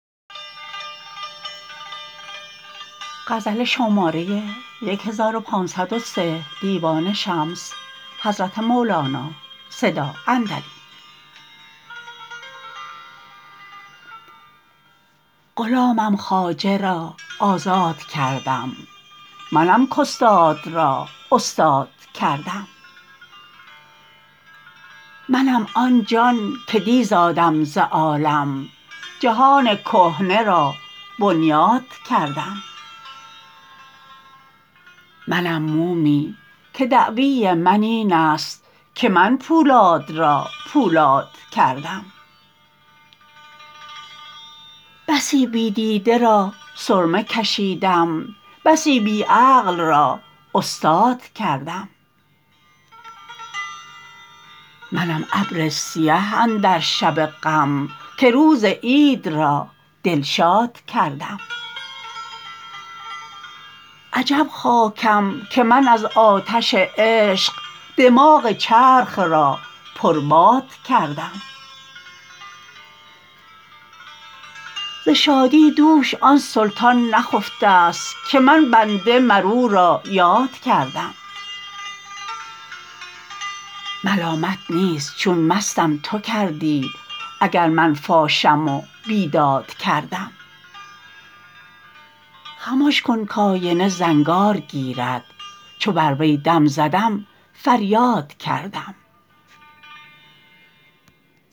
غلامم خواجه را آزاد کردم منم کاستاد را استاد کردم منم آن جان که دی زادم ز عالم جهان کهنه را بنیاد کردم منم مومی که دعوی من این است که من پولاد را پولاد کردم بسی بی دیده را سرمه کشیدم بسی بی عقل را استاد کردم منم ابر سیه اندر شب غم که روز عید را دلشاد کردم عجب خاکم که من از آتش عشق دماغ چرخ را پرباد کردم ز شادی دوش آن سلطان نخفته ست که من بنده مر او را یاد کردم ملامت نیست چون مستم تو کردی اگر من فاشم و بیداد کردم خمش کن کآینه زنگار گیرد چو بر وی دم زدم فریاد کردم